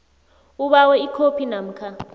ubawe ikhophi namkha